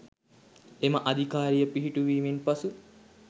එම අධිකාරිය පිහිටුවීමෙන් පසු